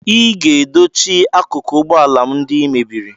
Ị ga-edochi akụkụ ụgbọ ala m ndị ị mebiri